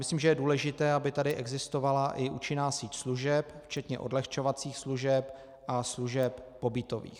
Myslím, že je důležité, aby tady existovala i účinná síť služeb, včetně odlehčovacích služeb a služeb pobytových.